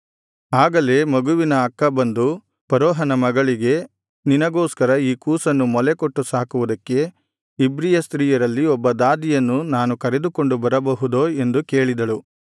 ಆಗಲೇ ಮಗುವಿನ ಅಕ್ಕ ಬಂದು ಫರೋಹನ ಮಗಳಿಗೆ ನಿನಗೋಸ್ಕರ ಈ ಕೂಸನ್ನು ಮೊಲೆಕೊಟ್ಟು ಸಾಕುವುದಕ್ಕೆ ಇಬ್ರಿಯ ಸ್ತ್ರೀಯರಲ್ಲಿ ಒಬ್ಬ ದಾದಿಯನ್ನು ನಾನು ಕರೆದುಕೊಂಡು ಬರಬಹುದೋ ಎಂದು ಕೇಳಿದಳು